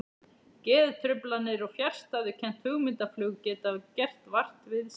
Geðtruflanir og fjarstæðukennt hugmyndaflug geta gert vart við sig.